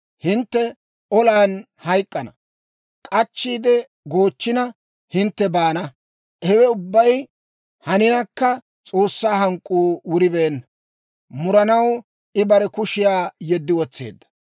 Hintte olan hayk'k'ana; k'achchiide goochchina, hintte baana. Hewe ubbay haninakka, S'oossaa hank'k'uu wuribeenna; muranaw I bare kushiyaa yeddi wotseedda.